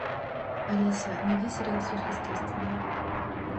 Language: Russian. алиса найди сериал сверхъестественное